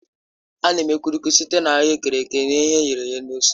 A na-eme Kulikuki site na ahuekere e ghere eghe na ose